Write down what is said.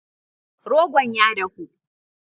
Rogon ya dahu.